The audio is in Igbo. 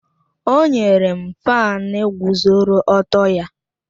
O nyere m fáan guzoro ọtọ ya